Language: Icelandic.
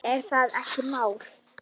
Er það ekki mitt mál?